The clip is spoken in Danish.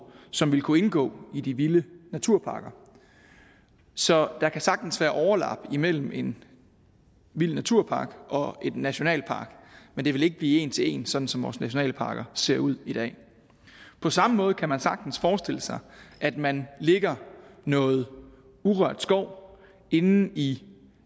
som vil kunne indgå i de vilde naturparker så der kan sagtens være overlap imellem en vild naturpark og en nationalpark men det vil ikke blive en til en sådan som vores nationalparker ser ud i dag på samme måde kan man sagtens forestille sig at man lægger noget urørt skov inde i